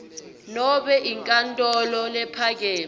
nobe enkantolo lephakeme